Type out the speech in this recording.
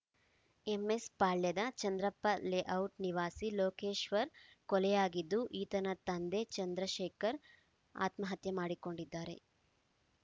ಎಂಎಸ್‌ಪಾಳ್ಯದ Chandrappa layout ನಿವಾಸಿ ಲೋಕೇಶ್ವರ್‌ ಕೊಲೆಯಾಗಿದ್ದು ಈತನ ತಂದೆ ಚಂದ್ರಶೇಖರ್‌ ಆತ್ಮಹತ್ಯೆ ಮಾಡಿಕೊಂಡಿದ್ದಾರೆ